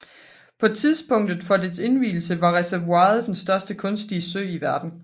På tidspunktet for dets indvielse var reservoiret den største kunstige sø i verden